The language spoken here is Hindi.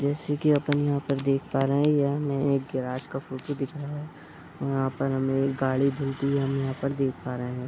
जैसे की अपन यहाँ पर देख पा रहे हैं यह में एक गेराज का फोटो दिखाया है यहाँ पर हमें एक गाड़ी धुलती है हम यहाँ पर देख पा रहे हैं।